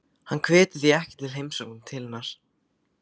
Hann hvetur því ekki til heimsókna til hennar.